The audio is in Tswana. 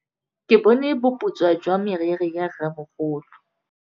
Ke bone boputswa jwa meriri ya rrêmogolo.